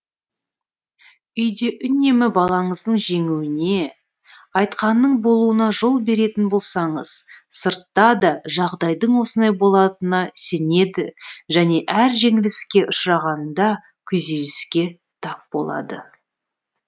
үйде үнемі балаңыздың жеңуіне айтқанының болуына жол беретін болсаңыз сыртта да жағдайдың осындай болатынына сенеді және әр жеңіліске ұшырағанында күйзеліске тап болады